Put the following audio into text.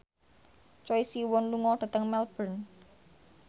Choi Siwon lunga dhateng Melbourne